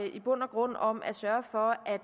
i bund og grund om at sørge for at